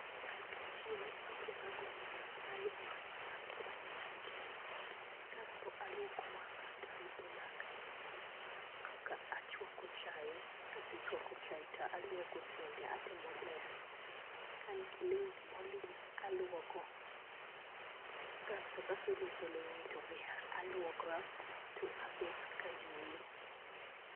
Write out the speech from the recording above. An ka achiew akwongo a gone nyasaye erokamano kuom miya ngima kasto aluoko wanga kasto arudho laka kaka achwako chai ka asechwako chai to aluoko sende atimo ler ka an gi lweni ma olil alwoko kasto ka aselwoko lewni to be alwokora to abet ka ayweyo.